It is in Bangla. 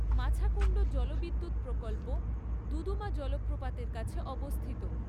মাছাকুন্ড জলবিদ্যুৎ প্রকল্প দুদুমা জলপ্রপাতের কাছে অবস্থিত।